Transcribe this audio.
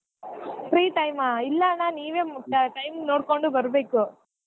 Free time ಆ ಇಲ್ಲಾ ಅಣ್ಣಾ ನೀವೇ time ನೊಡ್ಕೊಂಡು ಬರ್ಬೇಕು.